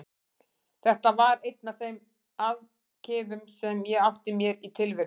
Þetta var einn af þeim afkimum sem ég átti mér í tilverunni.